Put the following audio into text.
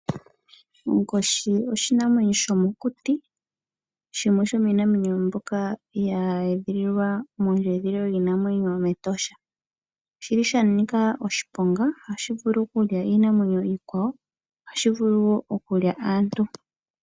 Onkoshi oshinanwenyo shomokuti shimwe shomiinamwenyo mbyoka ye edhililwa metosha. Osha nika oshiponga oshoka ohashi vulu okulya iinamwenyo iikwawo oshowo aantu.